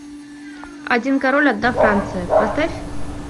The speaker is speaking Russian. один король одна франция поставь